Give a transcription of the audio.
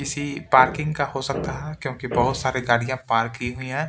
किसी पार्किंग का हो सकता है क्योंकि बहुत सारी गाड़ियां पार्क की हुई है।